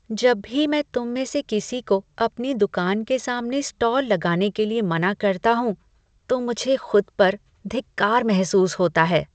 जब भी मैं तुम में से किसी को अपनी दुकान के सामने स्टॉल लगाने के लिए मना करता हूँ, तो मुझे खुद पर धिक्कार महसूस होता है।